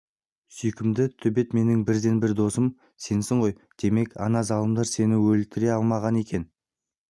сүйкімді төбет менің бірден-бір досым сенсің ғой демек ана залымдар сені өлтіре алмаған екен